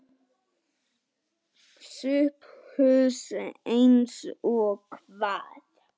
SOPHUS: Eins og hvað?